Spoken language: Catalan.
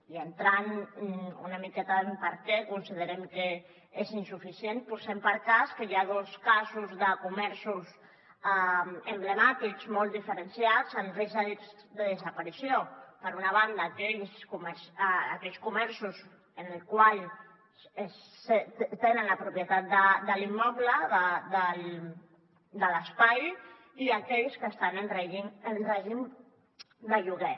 i entrant una miqueta en per què considerem que és insuficient posem per cas que hi ha dos casos de comerços emblemàtics molt diferenciats en risc de desaparició per una banda aquells comerços en els quals tenen la propietat de l’immoble de l’espai i aquells que estan en règim de lloguer